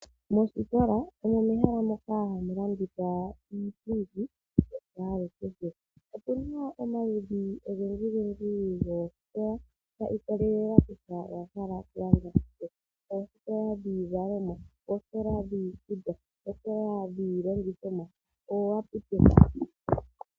Moostola omo mehala moka hamu landithwa iipundi ya kwalukehe. Otuna omaludhi ogendji goostola, shii kololela kutya owa hala oku landa shike. Oostola dhiizalomwa, oostola dhiikutu, oostola dhiilongithomwa noo aptek.